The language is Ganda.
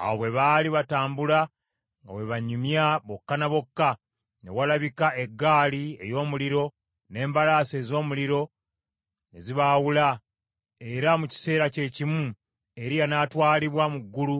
Awo bwe baali batambula nga bwe banyumya bokka na bokka, ne walabika eggaali ey’omuliro n’embalaasi ez’omuliro ne zibaawula, era mu kiseera kye kimu Eriya n’atwalibwa mu ggulu